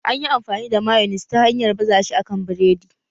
Anyi fi amfani da mayonis ta hanyar baza shi a kan biredi